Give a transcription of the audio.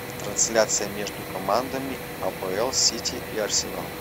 трансляция между командами апл сити и арсенал